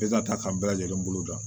Bɛɛ ka ta an bɛɛ lajɛlen bolo da